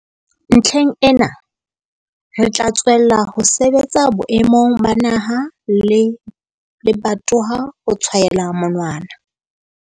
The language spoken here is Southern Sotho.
Ntlheng ena, re tla tswella ho sebetsa boemong ba naha le lebatowa ho tshwaela monwana.